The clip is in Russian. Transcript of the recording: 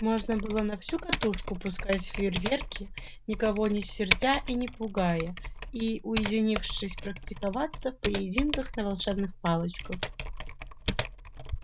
можно было на всю катушку пускать фейрверки никого не сердя и не пугая и уединившись практиковаться в поединках на волшебных палочках